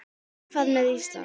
En hvað með Ísland?